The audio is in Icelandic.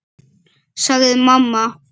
sagði mamma.